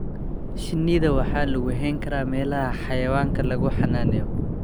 Shinnida waxa lagu hayn karaa meelaha xayawaanka lagu xanaaneeyo.